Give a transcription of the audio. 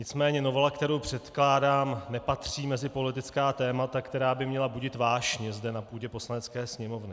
Nicméně novela, kterou předkládám, nepatří mezi politická témata, která by měla budit vášně zde na půdě Poslanecké sněmovny.